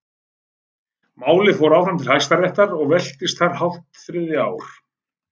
Málið fór áfram til Hæstaréttar og velktist þar hálft þriðja ár.